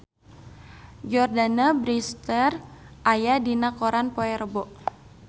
Jordana Brewster aya dina koran poe Rebo